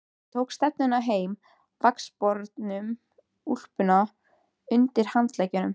Hann tók stefnuna heim með vaxbornu úlpuna undir handleggnum.